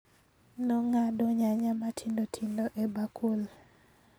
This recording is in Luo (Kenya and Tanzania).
Nong'ado nyanya matindo tindo e bakul